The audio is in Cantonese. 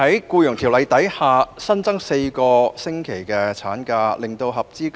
究竟14個星期的產假是否足夠呢？